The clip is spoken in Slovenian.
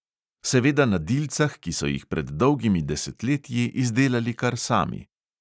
Seveda na dilcah, ki so jih pred dolgimi desetletji izdelali kar sami.